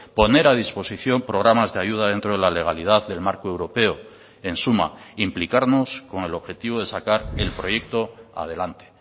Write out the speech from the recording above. poner a disposición programas de ayuda dentro de la legalidad del marco europeo en suma implicarnos con el objetivo de sacar el proyecto adelante